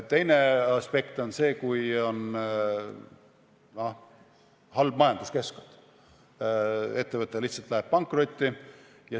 Teine aspekt on see, kui on halb majanduskeskkond ja ettevõte lihtsalt läheb pankrotti.